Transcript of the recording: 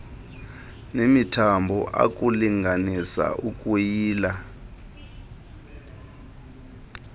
nemithambo ukulinganisa ukuyila